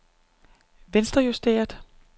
venstrejusteret